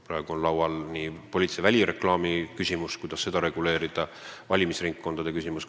Praegu on arutelu all poliitilise välireklaami ja valimisringkondade reguleerimise küsimus.